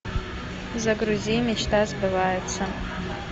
загрузи мечта сбывается